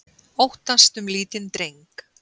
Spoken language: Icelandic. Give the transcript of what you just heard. Óttast um lítinn dreng